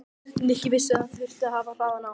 Nikki vissi að hann þyrfti að hafa hraðann á.